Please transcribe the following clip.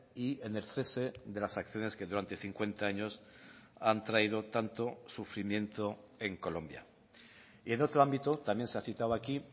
y en el cese de las acciones que durante cincuenta años han traído tanto sufrimiento en colombia y en otro ámbito también se ha citado aquí